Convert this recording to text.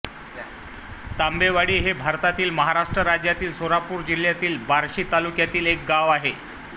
तांबेवाडी हे भारतातील महाराष्ट्र राज्यातील सोलापूर जिल्ह्यातील बार्शी तालुक्यातील एक गाव आहे